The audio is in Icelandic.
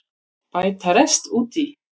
Bæta rest út í